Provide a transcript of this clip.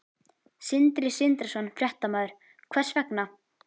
Sindri Sindrason, fréttamaður: Hvers vegna?